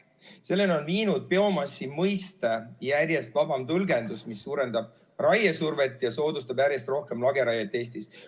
Selleni on viinud biomassi mõiste järjest vabam tõlgendus, mis suurendab raiesurvet ja soodustab järjest rohkem lageraiet Eestis.